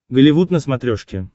голливуд на смотрешке